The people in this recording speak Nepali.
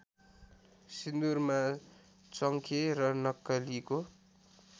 सिन्दुरमा चङ्खे र नक्कलीको